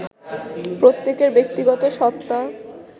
প্রত্যেকের ব্যক্তিগত সত্তা